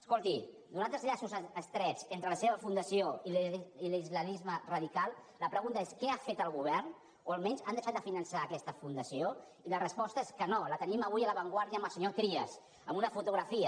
escolti nosaltres llaços estrets entre la seva fundació i l’islamisme radical la pregunta és què ha fet el govern o almenys han deixat de finançar aquesta fundació i la resposta és que no la tenim avui a la vanguardiatrias en una fotografia